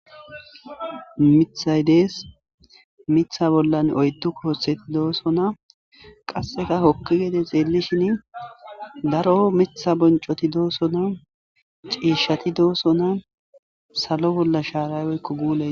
Mithayi dessi mitha bollai oyidu kotheti dossona qasse hokidi xexxishin darro mitha bonichoti dossona cishati dossona salo bolla sharati dossona